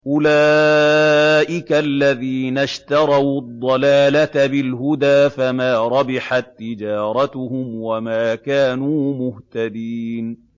أُولَٰئِكَ الَّذِينَ اشْتَرَوُا الضَّلَالَةَ بِالْهُدَىٰ فَمَا رَبِحَت تِّجَارَتُهُمْ وَمَا كَانُوا مُهْتَدِينَ